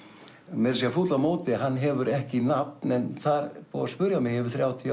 meira að segja fúll á móti hann hefur ekki nafn en það er búið að spyrja mig í yfir þrjátíu